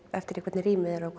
eftir því hvernig rýmið er og